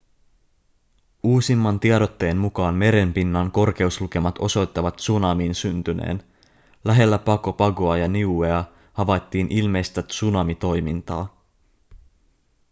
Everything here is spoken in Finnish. uusimman tiedotteen mukaan meren pinnan korkeuslukemat osoittavat tsunamin syntyneen lähellä pago pagoa ja niuea havaittiin ilmeistä tsunamitoimintaa